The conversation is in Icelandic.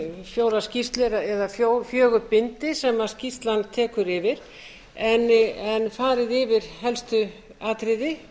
fjórar skýrslu eða fjögur bindi sem skýrslan tekur yfir en farið yfir helstu atriði